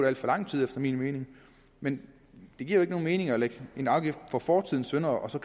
alt for lang tid efter min mening men det giver ikke nogen mening at lægge en afgift på fortidens synder og så